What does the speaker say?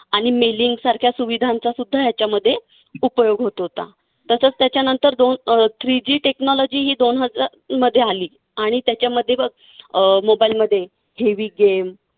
आणि सारख्या सुविधांचासुद्धा याच्यामध्ये उपयोग होत होता. तसंच त्याच्यानंतर दोन अं three G technology ही दोन हजार मध्ये आली. आणि त्याच्यामध्ये बघ अं mobile मध्ये heavy game